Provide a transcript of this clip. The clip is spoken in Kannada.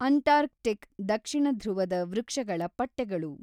ಅಂಟಾರ್ಕ್ ಟಿಕ್ ದಕ್ಷಿಣಧೃವದ ವೃಕ್ಷಗಳ ಪಟ್ಟೆಗಳು.